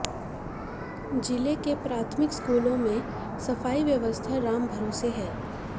जिले के प्राथमिक स्कूलों में सफाई व्यवस्था राम भरोसे है